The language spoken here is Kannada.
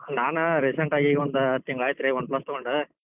ನಾನ್ recent ಆಗಿ ಈಗ ಒಂದ್ ತಿಂಗಳ್ ಆಯ್ತಿತ್ರಿ Oneplus ತೊಗೊಂಡ್.